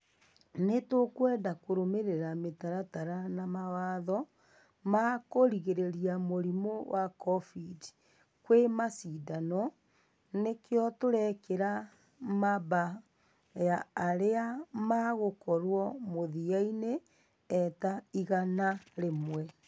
Nĩ tũkweda kũrũmerera mitaratara na mawatho ma kũgirĩria mũrimu wa covid kwĩ mashidano nĩkĩo tũrekera mamba ya arĩa magũkorwo mũthia-inĩ e ta igana rĩmwe